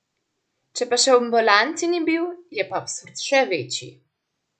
Če pa še v ambulanti ni bil, je pa absurd še večji.